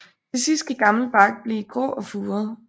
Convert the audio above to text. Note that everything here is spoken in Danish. Til sidst kan gammel bark blive grå og furet